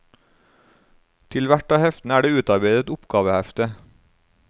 Til hvert av heftene er det utarbeidet et oppgavehefte.